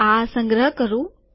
આ સંગ્રહ કરું